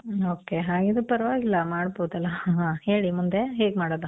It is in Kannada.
ಮ್ಮ್, ok. ಹಾಗಿದ್ರೆ ಪರ್ವಾಗಿಲ್ಲ ಮಾಡ್ಬೋದಲ್ಲ. ಹೇಳಿ ಮುಂದೆ ಹೇಗ್ ಮಾಡೋದು?